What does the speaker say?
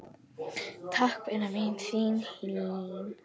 Takk, vina mín, þín Hlín.